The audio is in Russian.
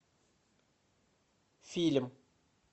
фильм